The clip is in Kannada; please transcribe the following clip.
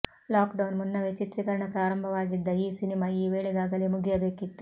ಲಾಕ್ಡೌನ್ ಮುನ್ನವೇ ಚಿತ್ರೀಕರಣ ಪ್ರಾರಂಭವಾಗಿದ್ದ ಈ ಸಿನಿಮಾ ಈ ವೇಳೆಗಾಗಲೆ ಮುಗಿಯಬೇಕಿತ್ತು